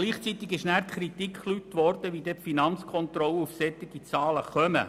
Gleichzeitig wurde die kritische Frage gestellt, wie denn die Finanzkontrolle auf diese Zahlen komme.